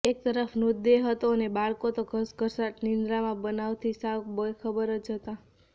એકતરફ મૃતદેહ હતો અને બાળકો તો ઘસઘસાટ નિંદ્રામાં બનાવથી સાવ બેખબર જ હતા